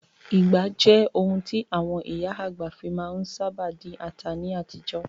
Ìgbá jẹ́ ohun tí àwọn ìyá àgbà fi má ń sábà dín ata ní àtijọ́.